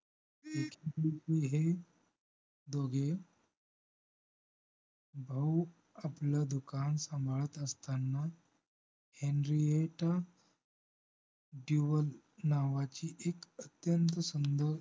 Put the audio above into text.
एकेदिवशी हे दोघे भाऊ आपलं दुकान सांभाळत असताना हेनरीटा दिवेल नावाची एक अत्यंत सुंदर